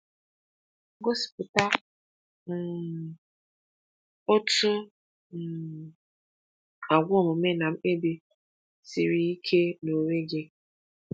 Gosipụta um otu um àgwà omume na mkpebi siri ike n’onwe gị.